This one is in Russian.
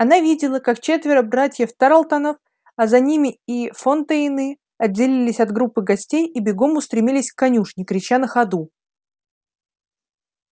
она видела как четверо братьев тарлтонов а за ними и фонтейны отделились от группы гостей и бегом устремились к конюшне крича на ходу